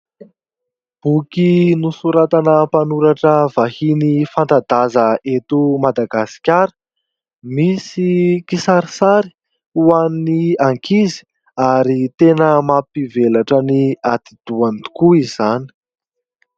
Boky nosoratana mpanoratra vahiny fanta-daza eto Madagasikara. Misy kisarisary ho an'ny ankizy ary tena mampivelatra ny atidohany tokoa izany.